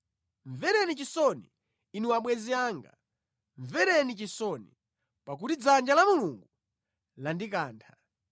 “Mvereni chisoni, inu abwenzi anga, mvereni chisoni, pakuti dzanja la Mulungu landikantha.